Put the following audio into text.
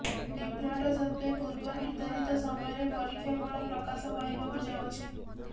ବିଭ୍ରାଟ ସତ୍ତ୍ୱେ ପୂର୍ବ ନିର୍ଦ୍ଧାରିତ ସମୟରେ ପରୀକ୍ଷା ଫଳ ପ୍ରକାଶ ପାଇବାକୁ ଯାଉଛି